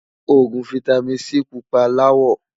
ògún fìtámín C púpà lawó